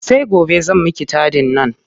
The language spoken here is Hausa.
Sai gobe zan miki taɗin nan.